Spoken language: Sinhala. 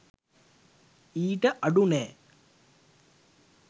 ඊට අඩු නෑ